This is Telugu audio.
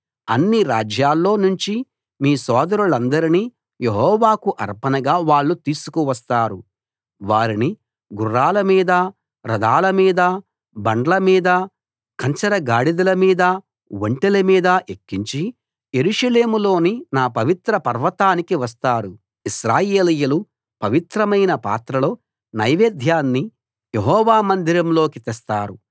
అన్ని రాజ్యాల్లో నుంచి మీ సోదరులందరినీ యెహోవాకు అర్పణగా వాళ్ళు తీసుకు వస్తారు వారిని గుర్రాల మీద రథాల మీద బండ్ల మీద కంచర గాడిదల మీద ఒంటెల మీద ఎక్కించి యెరూషలేములోని నా పవిత్ర పర్వతానికి వస్తారు ఇశ్రాయేలీయులు పవిత్రమైన పాత్రలో నైవేద్యాన్ని యెహోవా మందిరంలోకి తెస్తారు